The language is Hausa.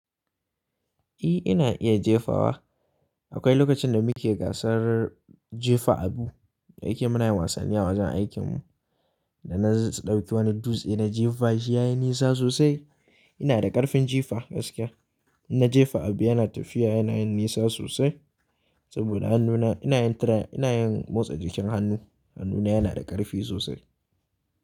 Eh, ina iya jefawa. Akwai lokacin da muke gasar jefa abu, dayake muna yin wasanni a wajen aikinmu da na ɗauki wani dutse na jefashi yayi nisa sosai. Ina da ƙarfin jefa gaskiya. Inna jefa abu yana tafiya yana yin nisa sosai saboda hannuna ina yin tra-- ina yin motsa jikin hannu. Hannuna yana da ƙarfi sosai.